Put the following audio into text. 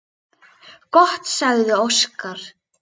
Gott, sagði Óskar.